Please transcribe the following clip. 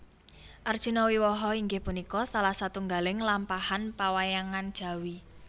Arjuna Wiwaha inggih punika salah satunggaling lampahan pawayangan Jawi